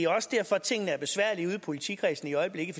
også derfor tingene er besværlige ude i politikredsene i øjeblikket